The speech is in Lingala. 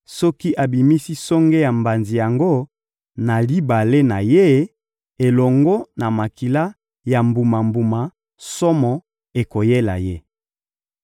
soki abimisi songe ya mbanzi yango na libale na ye elongo na makila ya mbuma-mbuma, somo ekoyela ye.